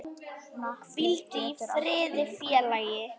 Hvíldu í friði félagi.